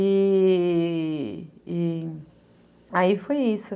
E...e... aí foi isso.